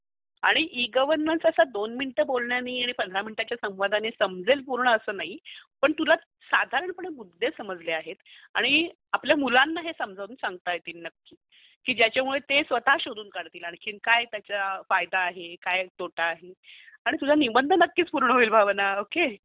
आणि इ-गवर्नन्स असा २ मिनिट बोलण्यानी किंवा १५ मिनटाच्या संवादानी समजेल पूर्ण अस नाही पण तुला साधारणपणे मुद्दे समजले आहेत आणि आपल्या मुलांना हे समजावून सांगता येतील हे नक्की की ज्याच्यामुळे ते स्वत शोधून काढतील की काय त्याचा फायदा आहे, काय त्याचा तोटा आहे आणि तुझा निबंध नक्कीच पूर्ण होईल भावना, ओके.